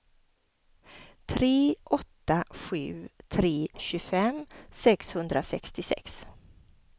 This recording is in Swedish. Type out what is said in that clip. tre åtta sju tre tjugofem sexhundrasextiosex